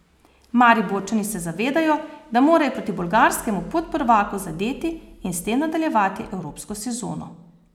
Mariborčani se zavedajo, da morajo proti bolgarskemu podprvaku zadeti in s tem nadaljevati evropsko sezono.